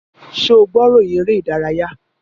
Ṣé o gbọ́ ìròyìn eré-ìdárayá?